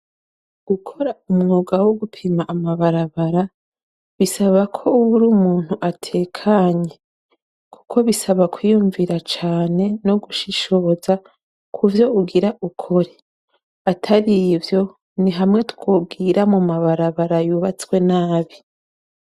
Gukora umwuga wo gupima amabarabara bisaba ko woba uri umuntu atekanye kuko bisaba kwiyumvira cane no gushishoza kuvyo ugira ukore. Atar'ivyo ni hamwe twogira mu mabarabara yubatswe nabi.